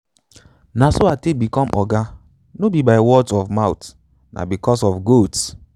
na so i take become oga no be by words of mouth na because of goats.